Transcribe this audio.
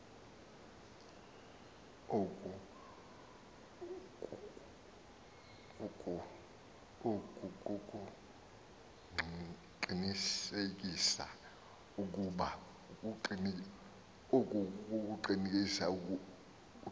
oku kukuqinisekisa ukuba